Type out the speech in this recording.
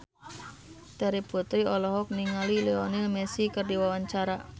Terry Putri olohok ningali Lionel Messi keur diwawancara